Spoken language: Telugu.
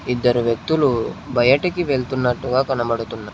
ఇద్దరు వ్యక్తులు బయటికి వెళ్తున్నట్టుగా కనబడుతున్న--.